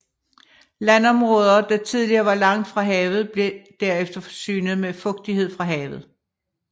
Landområder der tidligere var langt fra havet blev derefter forsynet med fugtighed fra havet